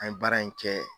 An ye baara in kɛ